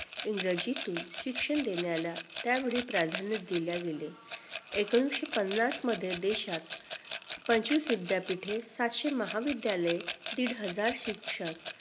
इंग्रजी तुन शिक्षण देणाऱ्या त्यावेळी प्राधान्य दिले गेले एकोणीशे पन्नास मध्ये देशात पंचवीस विद्यापीठे सातशे महाविद्यालये दीड हजार शिक्षक